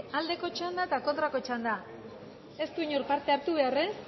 aldeko txanda eta kontrako txanda ez du inork parte hartu behar ez